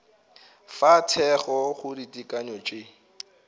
fa thekgo go ditekanyo tše